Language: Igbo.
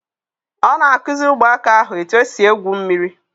On akuzi Ụmụaka ahu eti esi egwu mmiri